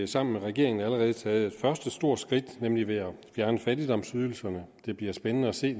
sammen med regeringen allerede taget det første store skridt nemlig ved at fjerne fattigdomsydelserne det bliver spændende at se